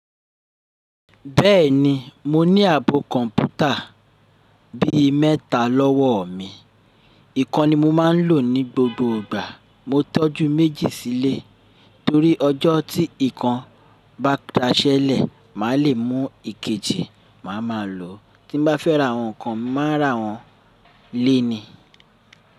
Bẹ́ẹ̀ni, mo ní ààbò kọ̀ǹpútà bí i mẹ́ta lọ́wọ́ mi. Ìkan ni mo máa ń lò ní gbogbo ìgbà. Mo tọ́jú méjì sílé torí ọjọ́ tí ìkan bá daṣẹ́lẹ̀, mà le mú ìkejì mà mà lò. Tí mo bá fẹ́ ra àwọn kan, mà ra wọn. Léèni.